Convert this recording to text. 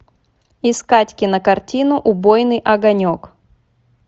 искать кинокартину убойный огонек